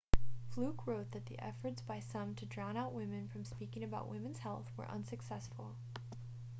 fluke wrote that the efforts by some to drown out women from speaking out about women's health were unsuccessful